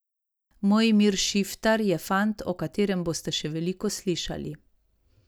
Mojmir Šiftar je fant, o katerem boste še veliko slišali.